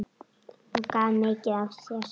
Hún gaf mikið af sér.